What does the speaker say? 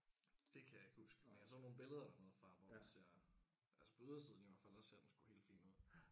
Det kan jeg ikke huske men jeg så nogle billeder dernede fra hvor at jeg altså på ydersiden i hvert fald der ser den sgu helt fin ud